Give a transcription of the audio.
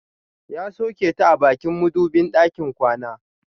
Ya soke ta a bakin madubin ɗakin kwana.